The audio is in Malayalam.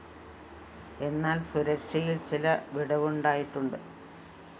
എന്നാല്‍ സുരക്ഷയില്‍ ചില വിടവുണ്ടായിട്ടുണ്ട്